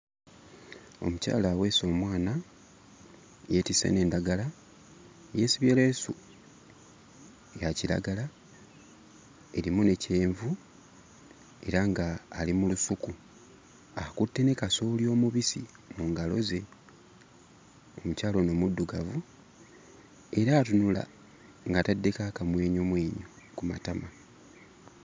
Omukyala aweese omwana yeetisse n'endagala yeesibye leesu ya kiragala erimu ne kyenvu era nga ali mu lusuku akutte ne kasooli omubisi mu ngalo ze, omukyala ono muddugavu era atunula ng'ataddeko akamwenyumwenyu ku matama.